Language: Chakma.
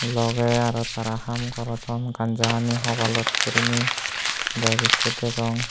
logey aro tara haam gorodon ganja hani hobalot guriney bag ikko degong.